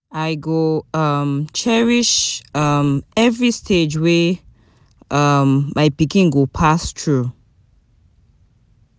I go um cherish um every stage wey um my pikin go pass through.